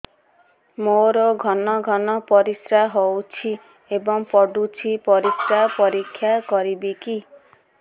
ମୋର ଘନ ଘନ ପରିସ୍ରା ହେଉଛି ଏବଂ ପଡ଼ୁଛି ପରିସ୍ରା ପରୀକ୍ଷା କରିବିକି